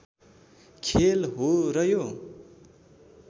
खेल हो र यो